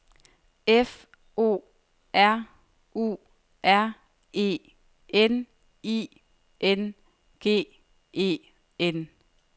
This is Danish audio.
F O R U R E N I N G E N